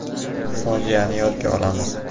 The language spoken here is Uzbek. Fojiani yodga olamiz.